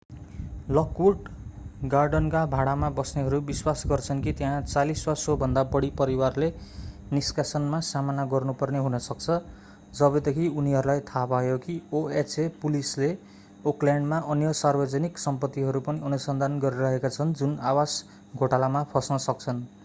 Lockwood गार्डनका भाडामा बस्नेहरू विश्वास गर्छन् कि त्यहाँ 40 वा सोभन्दा बढी परिवारले निष्कासनमा सामना गर्नुपर्ने हुन सक्छ जबदेखि उनीहरूलाई थाहा भयो कि oha पुलिसले ओकल्याण्डमा अन्य सार्वजनिक सम्पत्तिहरू पनि अनुसन्धान गरिरहेका छन् जुन आवास घोटालामा फस्न सक्छन्